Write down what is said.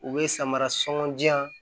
U bɛ samara sugundiyan